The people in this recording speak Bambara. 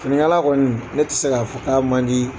Finikala kɔni ne tɛ se k'a fɔ k'a man di.